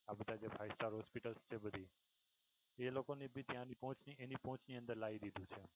આપણે જે five star hospital હતી બધી એ લોકોની ભી ત્યાંથી એની પોહચ ની અંદર લાવી દીધી છે.